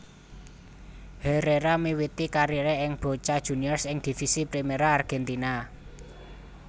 Herrera miwiti kariré ing Boca Juniors ing Divisi Primera Argentina